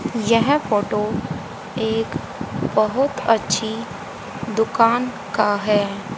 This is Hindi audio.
यह फोटो एक बहोत अच्छी दुकान का है।